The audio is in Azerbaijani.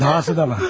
Dahası da var.